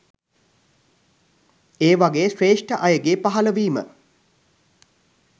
ඒ වගේ ශ්‍රේෂ්ඨ අයගේ පහළවීම